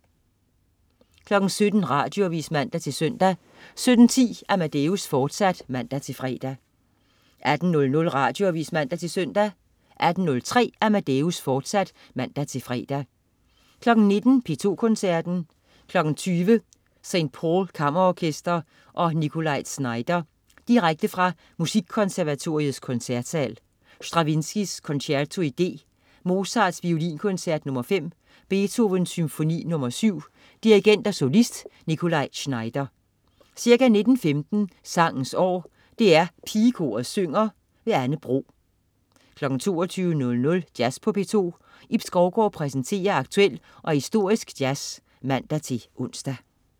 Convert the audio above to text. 17.00 Radioavis (man-søn) 17.10 Amadeus, fortsat (man-fre) 18.00 Radioavis (man-søn) 18.03 Amadeus, fortsat (man-fre) 19.00 P2 Koncerten. 20.00 St. Paul Kammerorkester og Nikolaj Znaider. Direkte fra Musikkonservatoriets Koncertsal. Stravinskij: Concerto i D. Mozart: Violinkoncert nr. 5. Beethoven: Symfoni nr. 7. Dirigent og solist: Nikolaj Znaider. Ca. 19.15 Sangens År. DR Pigekoret synger. Anne Bro 22.00 Jazz på P2. Ib Skovgaard præsenterer aktuel og historisk jazz (man-ons)